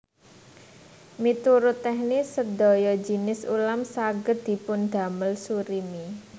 Miturut teknis sedaya jinis ulam saged dipundamel surimi